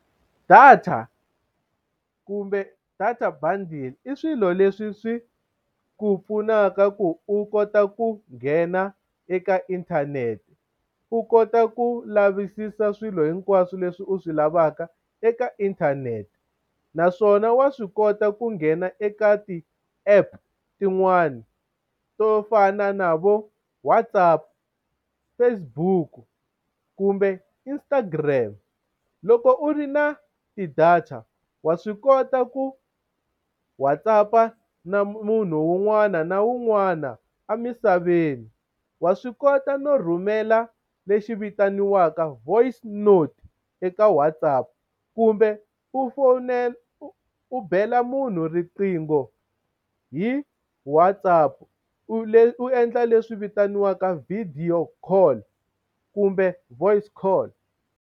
Data kumbe data bundle i swilo leswi swi ku pfunaka ku u kota ku nghena eka inthanete u kota ku lavisisa swilo hinkwaswo leswi u swi lavaka eka inthanete naswona wa swi kota ku nghena eka ti-app tin'wani, to fana na vo WhatsApp, Facebook kumbe Instagram loko u ri na ti-data wa swi kota ku WhatsApp-a na munhu un'wana na un'wana a misaveni wa swi kota no rhumela lexi vitaniwaka voice note eka WhatsApp kumbe u fowunela u bela munhu riqingho hi WhatsApp, u endla leswi vitaniwaka video call kumbe voice call.